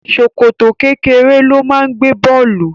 Ṣòkòtò kékeré ló máa ń gbé bọ̀ọ̀lù